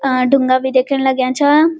आं ढुंगा भी दिख्येन लाग्यां छां।